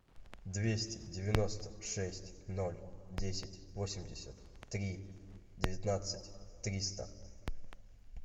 двести девяносто шесть ноль десять восемьдесят три девятнадцать триста